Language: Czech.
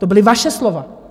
To byla vaše slova.